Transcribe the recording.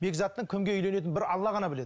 бекзаттың кімге үйленетінін бір алла ғана біледі